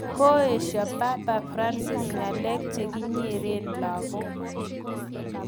Koesho papa Francis ng'alek chekinyere lakok